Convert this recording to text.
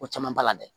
Ko caman b'a la dɛ